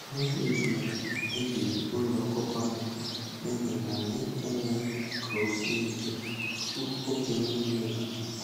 Mmiri ozuzo mebiri ụlọ ọkụkọ anyị n'ihi na anyị emeghị ka ọ sie ike tupu oge mmiri ozuzo.